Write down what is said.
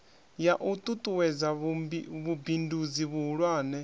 ya u ṱuṱuwedza vhubindudzi vhuhulwane